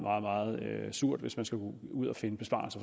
surt hvis man skal ud ud at finde besparelser